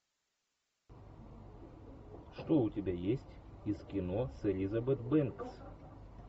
что у тебя есть из кино с элизабет бэнкс